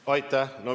Aitäh!